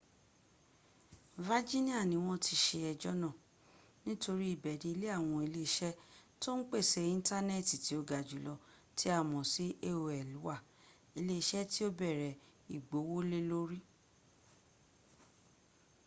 virginia ni wọ́n ti ṣe ẹjọ́ náà nítorí ibẹ̀ ni ilé àwọn ile iṣẹ tó ń pèsè intanẹtì tí ó ga jùlọ tí a mọ̀ sí aol wà ilé iṣẹ́ tí ó bẹ̀rẹ̀ ìgbówólélórí